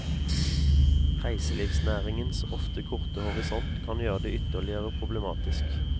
Reiselivsnæringens ofte korte horisont kan gjøre det ytterligere problematisk.